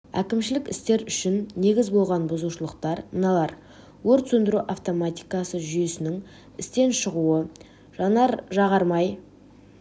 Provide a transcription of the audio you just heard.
әкімшілік істер үшін негіз болған бұзушылықтар мыналар өрт сөндіру автоматикасы жүйесінің істен шығуы жанар-жағар май